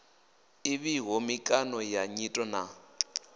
ḓivhiho mikano ya nyito na